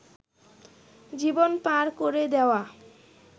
জীবন পার করে দেওয়া